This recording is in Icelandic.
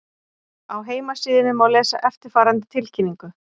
Á heimasíðunni má lesa eftirfarandi tilkynningu